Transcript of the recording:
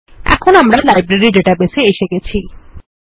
এখন আমরা library database এ এসে গেছি